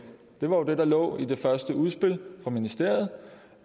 det var jo det der lå i det første udspil fra ministeriet